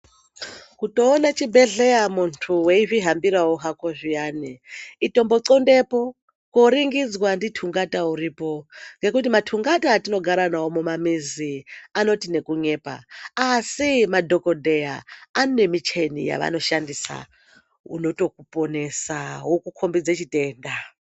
Kutoone chibhedhleya muntu weidzihambirawo hako zviyani itombotxondepo kooringidzwa ndi tungata uripo ngekuti matungata atinogara navo mumamizi anoti nekunyepa asi madhokodheya anemicheni yavanoshandisa inotokuponesa yokukombidza chitenda.